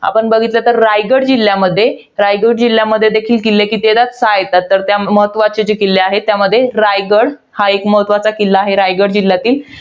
आपण बघितलं, तर रायगड जिल्ह्यामध्ये, रायगड जिल्ह्यामध्ये देखील किल्ले किती येतात? सहा येतात. तर त्यात महत्वाचे किल्ले आहेत. त्यामध्ये, रायगड हा एक महत्वाचा किल्ला आहे. रायगड जिल्ह्यातील.